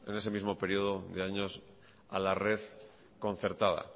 ese mismo periodo de años a la red concertada